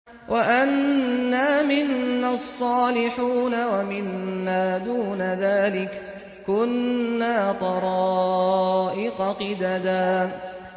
وَأَنَّا مِنَّا الصَّالِحُونَ وَمِنَّا دُونَ ذَٰلِكَ ۖ كُنَّا طَرَائِقَ قِدَدًا